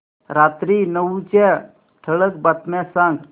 रात्री नऊच्या ठळक बातम्या सांग